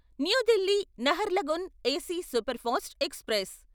new Delhi Naharlagun AC superfast express